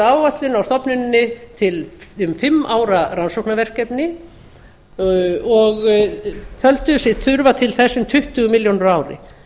áætlun á stofnuninni um fimm ára rannsóknarverkefni og töldu sig þurfa til þess um tuttugu milljónir á ári